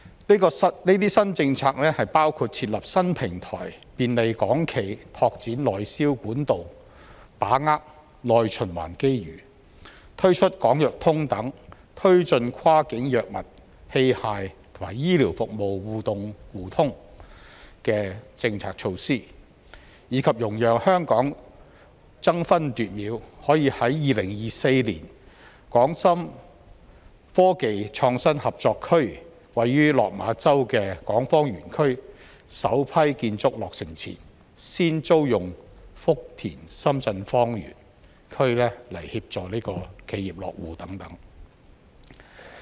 這些新政策包括設立新平台便利港企拓展內銷管道，把握"內循環"機遇；推出"港藥通"等推進跨境藥物、器械及醫療服務互通互動的政策措施，以及容讓香港爭分奪秒，可以在2024年深港科技創新合作區位於落馬洲的港方園區首批建築落成前，先租用福田深圳方園區來協助企業落戶等。